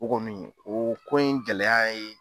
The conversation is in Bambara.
O kɔni o ko in gɛlɛya ye